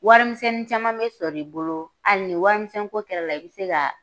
Warimisɛnnin caman bɛ sɔrɔ i bolo hali ni warimisɛnko kɛr'a la i bɛ se ka